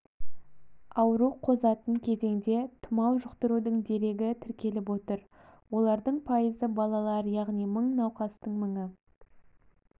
ауру қозатын кезеңде тұмау жұқтырудың дерегі тіркеліп отыр олардың пайызы балалар яғни мың науқастың мыңы